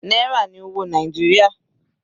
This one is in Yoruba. Náírà ní owó Nàìjíríà.